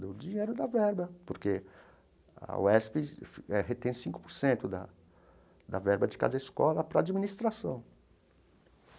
Do dinheiro da verba, porque a UESP retém cinco por cento da da verba de cada escola para a administração.